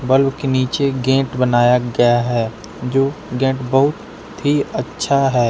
Bulb के नीचे एक गेंट बनाया गया है जो गैट बहुत ही अच्छा है।